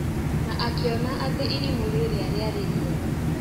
Na akiona atĩ irimũ rĩria rĩarĩ rĩega.